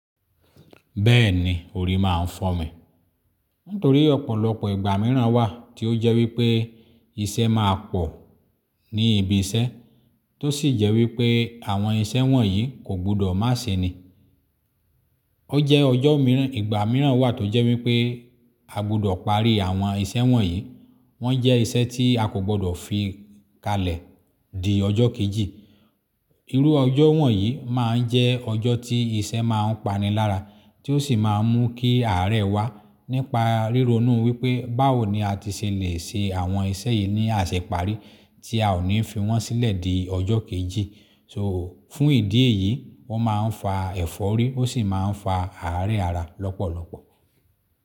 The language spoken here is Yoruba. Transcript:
Bẹ́ẹ̀ni, òrí máa ń fọ́mi. Nítorí ọ̀pọ̀lọpọ̀ ìgbà mìíràn wà tí ó jẹ́ wípé iṣẹ́ máa pọ̀ ní ibi iṣẹ́, tó sì jẹ́ wípé àwọn iṣẹ́ wọ̀nyí kò gbọdọ̀ má ṣí ni. Ó jẹ́ ọjọ́ mìíràn, ìgbà mìíràn wà tó jẹ́ wípé a gbọdọ̀ parí àwọn iṣẹ́ wọ̀nyí. Wọ́n jẹ́ iṣẹ́ tí a kò gbọdọ̀ fi kalẹ̀ di ọjọ́ kejì. Irú ọjọ́ wọ̀nyí máa ń jẹ́ ọjọ́ tí iṣẹ́ máa ń pani lára, tí ó sì máa ń mú kí àárẹ̀ wá nípa ríro inúu wípé báwo ni a ti ṣe lè ṣe àwọn iṣẹ́ yìí ní àṣẹ parí tí a ò ní fi wọ́n sílẹ̀ di ọjọ́ kejì. So fún ìdí èyí, wọ́n máa ń fa ẹ̀fọ́rí ó sì máa ń fa àárẹ̀ ara lọ́pọ̀lọpọ̀.